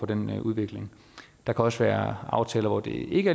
den udvikling der kan også være aftaler hvor det ikke